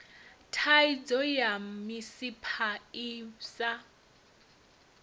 thaidzo ya misipha i sa